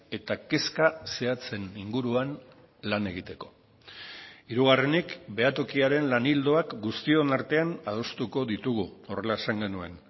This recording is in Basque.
eta kezka zehatzen inguruan lan egiteko hirugarrenik behatokiaren lan ildoak guztion artean adostuko ditugu horrela esan genuen